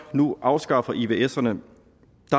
nu afskaffer ivserne